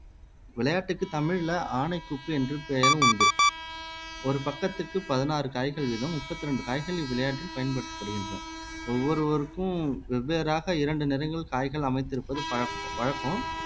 விளையாட்டுக்கு தமிழ்ல ஆனைக்குப்பு என்று பெயரும் உண்டு ஒரு பக்கத்துக்கு பதினாறு காய்கள் வீதம் முப்பத்தி ரெண்டு காய்களின் விளையாட்டில் பயன்படுத்தப்படுகின்றன ஒவ்வொருவருக்கும் வெவ்வேறாக இரண்டு நிறங்கள் காய்கள் அமைத்திருப்பது பழ வழக்கம்